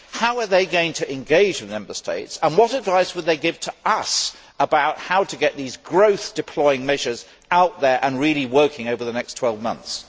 How are they going to engage with Member States and what advice would they give to us about how to get these growth deploying measures out there and really working over the next 12 months?